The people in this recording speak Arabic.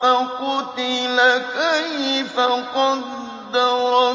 فَقُتِلَ كَيْفَ قَدَّرَ